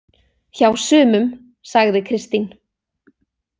Hjá sumum, sagði Kristín.